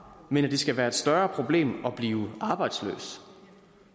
men at det skal være et større problem at blive arbejdsløs